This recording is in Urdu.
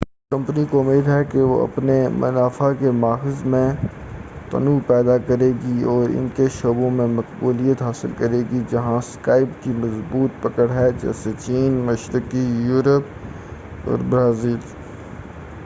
کمپنی کو امید ہے کہ وہ اپنے منافع کے ماخذ میں تنوع پیدا کرے گی اور ان شعبوں میں مقبولیت حاصل کرے گی جہاں سکائپ کی مضبوط پکڑ ہے جیسے چین مشرقی یوروپ اور برازیل